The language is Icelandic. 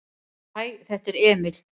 """Hæ, þetta er Emil."""